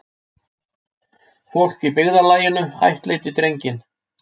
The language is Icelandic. Fólk í byggðarlaginu ættleiddi drenginn.